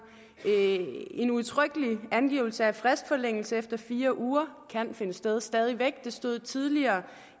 en udtrykkelig angivelse af at fristforlængelse efter fire uger kan finde sted stadig væk det stod tidligere